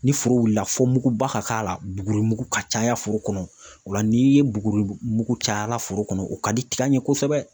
Ni foro wulila fo muguba ka k'a la buguri mugu ka caya foro kɔnɔ, o la n'i ye buguri mugu caya foro kɔnɔ, o ka di tiga in ye kosɛbɛ